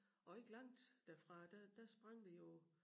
Og ikke langt derfra der der sprang vi jo